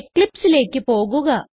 eclipseലേക്ക് പോകുക